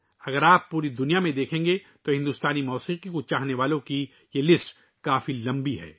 اگر آپ پوری دنیا کو دیکھیں تو بھارتی موسیقی سے محبت کرنے والوں کی یہ فہرست بہت طویل ہے